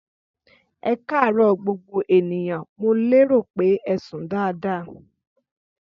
Ẹkarọ gbogbo ènìyàn ,mo lérò pé ẹsùn daadaa.